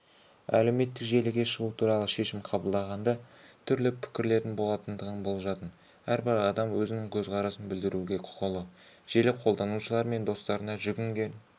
әлеуметтік желіге шығу туралы шешім қабылдағанда түрлі пікірлердің болатындығын болжадым әрбір адам өзінің көзқарасын білдіруге құқылы желі қолданушылар мен достарына жүгінген